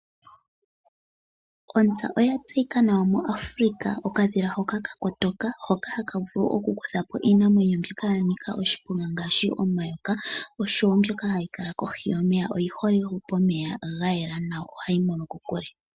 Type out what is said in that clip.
Ontsa oya tseyika nawa muAfrika. Okadhila hoka ka kotoka , hoka haka vuku oku kutha po iinamwenyo mbyoka ya nika oshiponga ngaashi omayoka, osho wo mbyoka ha yi kala kohi yomeya. Oyi hole wo pomeya ga yela nawa, yo oha yi mono kokule.